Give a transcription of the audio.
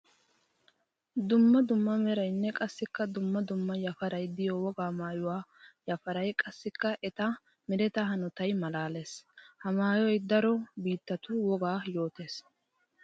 Dumma dumma merayinne qassikka dumma dumma yafaray de'iyo wogaa maayuwa yafaray qassikka etta meretta hanotay malaales. Ha maayoy daro biittatu wogaa yootosonna.